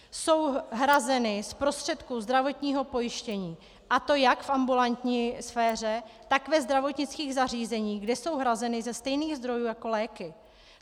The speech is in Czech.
Jsou hrazeny z prostředků zdravotního pojištění, a to jak v ambulantní sféře, tak ve zdravotnických zařízeních, kde jsou hrazeny ze stejných zdrojů jako léky.